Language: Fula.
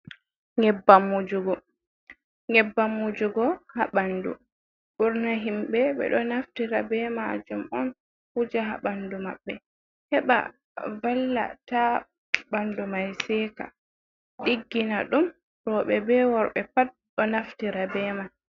Nyebbam wujugo. Nyebbam wujugo haa ɓandu, ɓurna himɓe ɓe ɗo naftira be majum on wuja haa ɓandu maɓɓe heɓa valla taa ɓandu mai seka, diggina ɗum. Rowɓe be worɓe pat ɗo naftira be mai.